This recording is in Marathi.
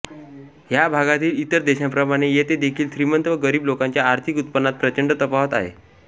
ह्या भागातील इतर देशांप्रमाणे येथे देखील श्रीमंत व गरीब लोकांच्या आर्थिक उत्पनांत प्रचंड तफावत आहे